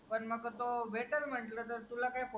पण मग तोह भेटल म्हटलं तुला कै फोन वगेरा